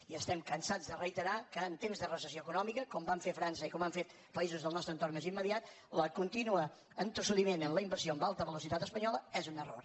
i estem cansats de reiterar que en temps de recessió econòmica com van fer a frança i com han fet països del nostre entorn més immediat el continu entossudiment en la inversió en alta velocitat espanyola és un error